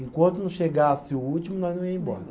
Enquanto não chegasse o último, nós não ia embora.